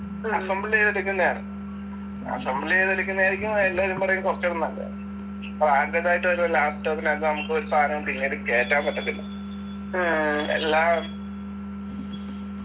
assembled എയ്‌തെടുക്കുന്നെയാണ് assemble എയ്തെടുക്കുന്നതായിരിക്കും എല്ലാരും പറയും കുറച്ചും കൂടി നല്ലത് branded ആയിട്ടൊരു laptop നാത്ത് നമുക്കൊരു സാധനം പിന്നീട് കേറ്റാൻ പറ്റത്തില്ല എല്ലാ